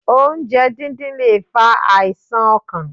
Oúnjẹ dídín lè fa àìsàn ọkàn.